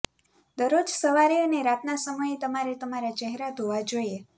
દરરોજ સવારે અને રાતના સમયે તમારે તમારા ચહેરા ધોવા જોઈએ